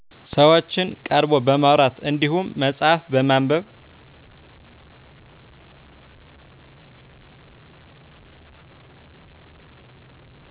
ሰዎችን ቀርቦ በማውራት እንድሁም መፅሐፍ በማንበብ